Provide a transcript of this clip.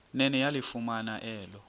nene yalifumana elo